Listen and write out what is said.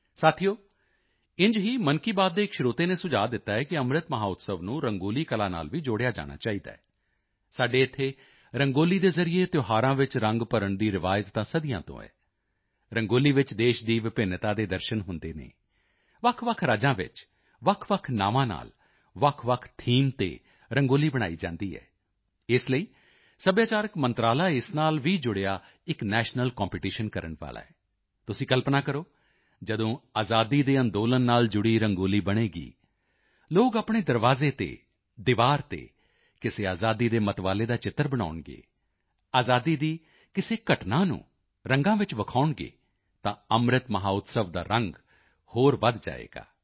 ਸਾਥੀਓ ਇੰਝ ਹੀ ਮਨ ਕੀ ਬਾਤ ਦੇ ਇੱਕ ਸਰੋਤੇ ਨੇ ਸੁਝਾਅ ਦਿੱਤਾ ਹੈ ਕਿ ਅੰਮ੍ਰਿਤ ਮਹੋਤਸਵ ਨੂੰ ਰੰਗੋਲੀ ਕਲਾ ਨਾਲ ਵੀ ਜੋੜਿਆ ਜਾਣਾ ਚਾਹੀਦਾ ਹੈ ਸਾਡੇ ਇੱਥੇ ਰੰਗੋਲੀ ਦੇ ਜ਼ਰੀਏ ਤਿਉਹਾਰਾਂ ਵਿੱਚ ਰੰਗ ਭਰਨ ਦੀ ਰਵਾਇਤ ਤਾਂ ਸਦੀਆਂ ਤੋਂ ਹੈ ਰੰਗੋਲੀ ਵਿੱਚ ਦੇਸ਼ ਦੀ ਵਿਭਿੰਨਤਾ ਦੇ ਦਰਸ਼ਨ ਹੁੰਦੇ ਹਨ ਵੱਖਵੱਖ ਰਾਜਾਂ ਵਿੱਚ ਵੱਖਵੱਖ ਨਾਵਾਂ ਨਾਲ ਵੱਖਵੱਖ ਥੀਮ ਤੇ ਰੰਗੋਲੀ ਬਣਾਈ ਜਾਂਦੀ ਹੈ ਇਸ ਲਈ ਸੱਭਿਆਚਾਰਕ ਮੰਤਰਾਲਾ ਇਸ ਨਾਲ ਵੀ ਜੁੜਿਆ ਇੱਕ ਨੈਸ਼ਨਲ ਕੰਪੀਟੀਸ਼ਨ ਕਰਨ ਵਾਲਾ ਹੈ ਤੁਸੀਂ ਕਲਪਨਾ ਕਰੋ ਜਦੋਂ ਆਜ਼ਾਦੀ ਦੇ ਅੰਦੋਲਨ ਨਾਲ ਜੁੜੀ ਰੰਗੋਲੀ ਬਣੇਗੀ ਲੋਕ ਆਪਣੇ ਦਰਵਾਜ਼ੇ ਤੇ ਦੀਵਾਰ ਤੇ ਕਿਸੇ ਆਜ਼ਾਦੀ ਦੇ ਮਤਵਾਲੇ ਦਾ ਚਿੱਤਰ ਬਣਾਉਣਗੇ ਆਜ਼ਾਦੀ ਦੀ ਕਿਸੇ ਘਟਨਾ ਨੂੰ ਰੰਗਾਂ ਵਿੱਚ ਵਿਖਾਉਣਗੇ ਤਾਂ ਅੰਮ੍ਰਿਤ ਮਹੋਤਸਵ ਦਾ ਵੀ ਰੰਗ ਹੋਰ ਵਧ ਜਾਏਗਾ